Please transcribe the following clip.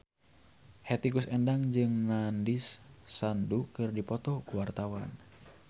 Hetty Koes Endang jeung Nandish Sandhu keur dipoto ku wartawan